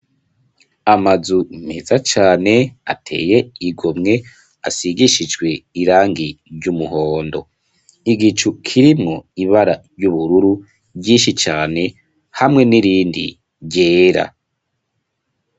Amazu mpeza cane ateye igomwe asigishijwe irangi ry'umuhondo, igicu kirimwo ibara ry'ubururu ryinshi cane hamwe n'irindi ryera.